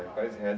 quais reza